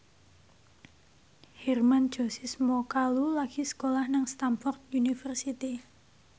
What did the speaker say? Hermann Josis Mokalu lagi sekolah nang Stamford University